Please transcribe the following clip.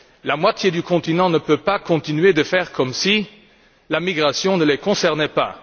La moitié du continent ne peut pas continuer de faire comme si l'immigration ne les concernait pas!